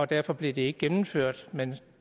derfor blev det ikke gennemført men